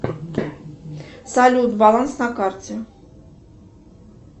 салют баланс на карте